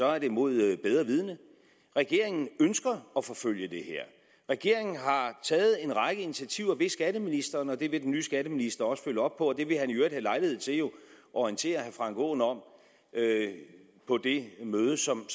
er det imod bedre vidende regeringen ønsker at forfølge det her regeringen har taget en række initiativer ved skatteministeren og det vil den nye skatteminister også følge op på og det vil han jo i øvrigt have lejlighed til at orientere herre frank aaen om på det møde som